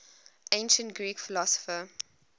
ancient greek philosopher